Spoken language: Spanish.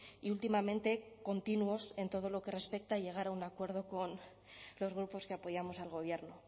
y últimamente continuos en todo lo que respecta a llegar a un acuerdo con los grupos que apoyamos al gobierno